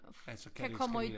Altså kan det elskalere